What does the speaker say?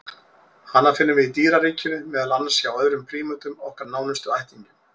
Hana finnum við í dýraríkinu, meðal annars hjá öðrum prímötum, okkar nánustu ættingjum.